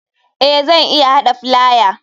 Eh zan iya hada filaya.